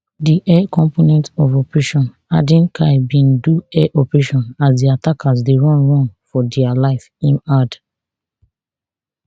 di air component of operation hadin kai bin do air operation as di attackers dey run run for dia life im add